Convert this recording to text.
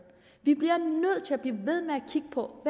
vi bliver nødt til at blive ved med at kigge på